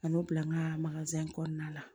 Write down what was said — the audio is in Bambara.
Ka n'o bila n ka kɔnɔna la